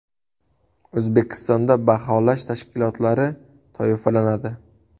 O‘zbekistonda baholash tashkilotlari toifalanadi.